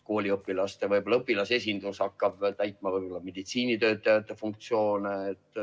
Kooliõpilaste esindus võib-olla hakkab täitma meditsiinitöötajate funktsioone.